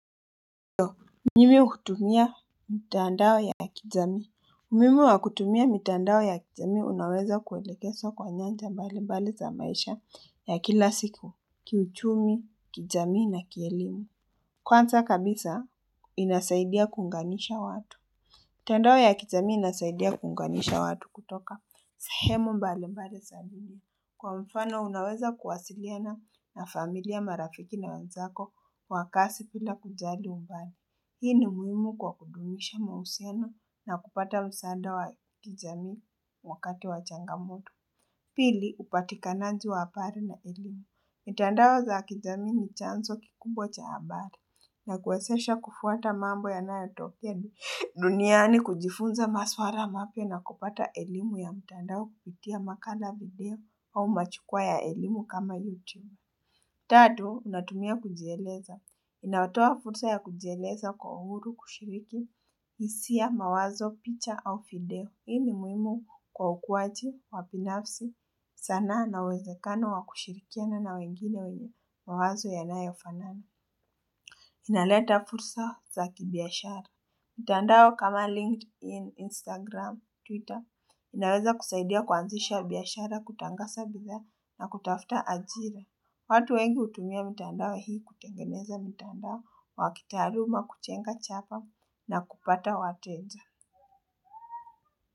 Mimi hutumia mtandao ya kijamii, umuhimu wakutumia mitandao ya kijamii, unaweza kuelekeswa kwa nyanja mbali mbali za maisha ya kila siku, kiuchumi, kijamii na kielimu. Kwanza kabisa, inasaidia kuunganisha watu. Mtaandao ya kijamii inasaidia kuunganisha watu kutoka sahemu mbali mbali sa. Kwa mfano, unaweza kuwasiliana na familia marafiki na wanzako, kwa kasi pila kujali umbali. Hii ni muhimu kwa kudumisha mahusiano na kupata msaada wa kijamii wakati wa changamoto. Pili, upatikananji waapari na elimu. Mitandao za kijamii ni chanzo kikubwa cha abari na kuwesesha kufuata mambo ya nayayotokea duniani kujifunza maswara mapya na kupata elimu ya mtandao kupitia makala video au machukwaa ya elimu kama YouTube. Tatu, natumia kujieleza. Inawatoa fursa ya kujieleza kwa uhuru kushiriki hisia mawazo, picha au fideo. Hii ni muhimu kwa ukuwaji, wa binafsi, sanaa na uwezekano wa kushirikiana na wengine wenye mawazo yanayo fanana. Inaleta fursa za kibiashara. Mtandao kama LinkedIn, Instagram, Twitter, inaweza kusaidia kuanzisha biashara kutangasa bidhaa na kutafuta ajire. Watu wengi hutumia mitandao hii kutengeneza mitandao wa kitaaluma kuchenga chapa na kupata wateja.